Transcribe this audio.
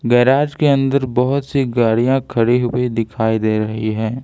Garage के अंदर बहोत सी गाड़ियां खड़ी हुई दिखाई दे रही है।